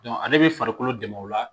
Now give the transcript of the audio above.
ale bɛ farikolo dɛmɛ o la